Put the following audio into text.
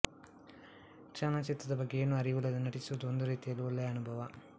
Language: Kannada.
ಚಲನಚಿತ್ರದ ಬಗ್ಗೆ ಏನೂ ಅರಿವಿಲ್ಲದೆ ನಟಿಸುವುದು ಒಂದು ರೀತಿಯಲ್ಲಿ ಒಳ್ಳೆಯ ಅನುಭವ